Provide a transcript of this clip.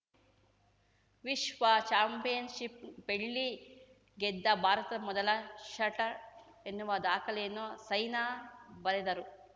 ವಿಶ್ವ ಚಾಂಪಿಯನ್‌ಶಿಪ್‌ ಬೆಳ್ಳಿ ಗೆದ್ದ ಭಾರತದ ಮೊದಲ ಶಟರ್‌ ಎನ್ನುವ ದಾಖಲೆಯನ್ನು ಸೈನಾ ಬರೆದರು